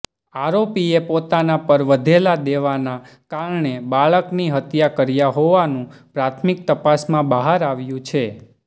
આરોપીએ પોતાના પર વધેલા દેવાના કારણે બાળકની હત્યા કર્યા હોવાનું પ્રાથમિક તપાસમાં બહાર આવ્યું છે